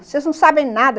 Vocês não sabem nada.